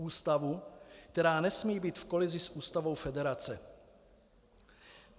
Ústavu, která nesmí být v kolizi s ústavou federace.